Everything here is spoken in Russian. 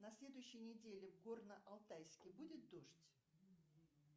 на следующей неделе в горно алтайске будет дождь